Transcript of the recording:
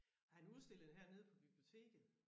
Og han udstillede hernede på biblioteket